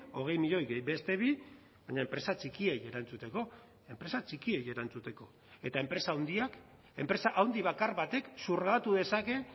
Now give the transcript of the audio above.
hogei milioi gehi beste bi baina enpresa txikiei erantzuteko enpresa txikiei erantzuteko eta enpresa handiak enpresa handi bakar batek zurgatu dezake